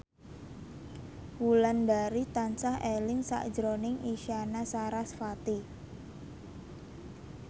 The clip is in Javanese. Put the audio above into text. Wulandari tansah eling sakjroning Isyana Sarasvati